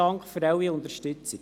Dank für Ihre Unterstützung.